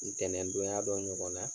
Ntɛnɛndonya dɔ ɲɔgɔn na